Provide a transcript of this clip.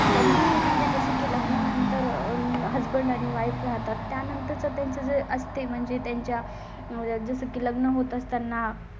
त्यांनी म्हणजे जसं की लग्नानंतर हसबंड आणि वाइफ राहतात. त्यानंतर चं त्यांचं जे असते म्हणजे त्यांच्या मुळे जसं की लग्न होतात. त्यांना